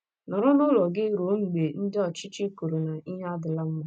Nọrọ n’ụlọ gị ruo mgbe ndị ọchịchị kwuru na ihe adịla mma.